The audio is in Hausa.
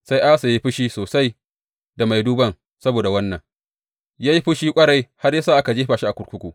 Sai Asa ya yi fushi sosai da mai duban saboda wannan; ya yi fushi ƙwarai har ya sa aka jefa shi a kurkuku.